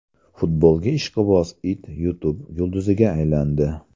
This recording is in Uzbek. Futbolga ishqiboz it YouTube yulduziga aylandi.